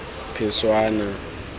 phešwana